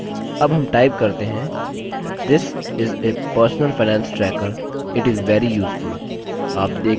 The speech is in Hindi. अब हम type करते हैंthis is a personal finance tracker it is very useful